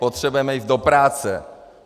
Potřebujeme jít do práce.